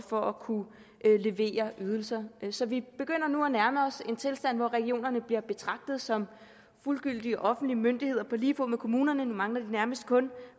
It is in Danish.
for at kunne levere ydelser så vi begynder nu at nærme os en tilstand hvor regionerne bliver betragtet som fuldgyldige offentlige myndigheder på lige fod med kommunerne nu mangler de nærmest kun